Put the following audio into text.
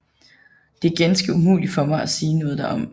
Det er ganske umuligt for mig at sige noget derom